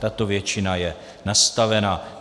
Tato většina je nastavena.